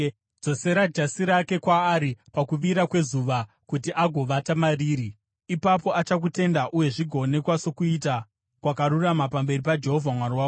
Dzosera jasi rake kwaari pakuvira kwezuva kuti agovata mariri. Ipapo achakutenda, uye zvigoonekwa sokuita kwakarurama pamberi paJehovha Mwari wako.